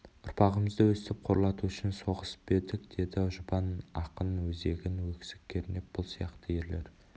ұрпағымызды өстіп қорлату үшін соғысып па едік деді жұбан ақын өзегін өксік кернеп бұл сияқты ерлер